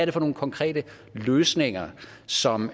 er for nogle konkrete løsninger som